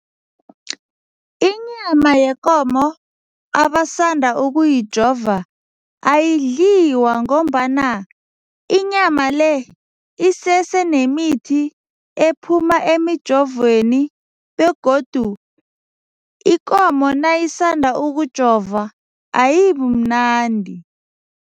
Inyama yekomo abasanda ukuyijova ayidliwa ngombana inyama le isesenemithi ephuma emijovweni begodu ikomo nayisanda ukujovwa ayibimnandi.